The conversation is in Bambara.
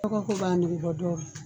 Dɔgɔ ko b'a nege bɔ dɔw la